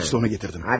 İşte onu gətirdim.